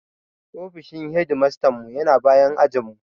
Ofishin hedimastanmu ya na bayan ajinmu.